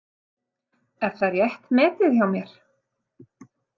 Er það rétt metið hjá mér?